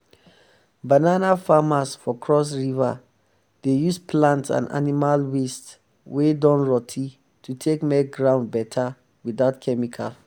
banana farmers for cross river dey um use plant and animal waste wey um don rotty to take make ground better without chemical.